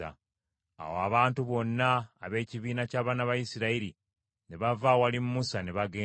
Awo abantu bonna ab’ekibiina ky’abaana ba Isirayiri ne bava awali Musa ne bagenda.